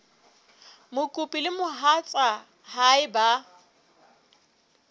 mokopi le mohatsa hae ba